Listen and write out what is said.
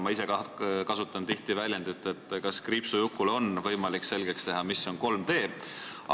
Ma ise kasutan tihti väljendit, et kas kriipsujukule on võimalik selgeks teha, mis on 3D.